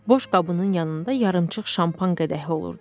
Boş qabının yanında yarımçıq şampan qədəhi olurdu.